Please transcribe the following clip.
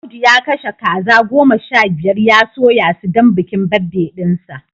Audu ya kashe kaza goma sha biyar ya soya su don bikin birthday dinsa